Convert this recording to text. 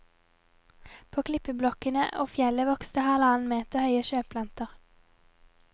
På klippeblokkene og fjellet vokste halvannen meter høye sjøplanter.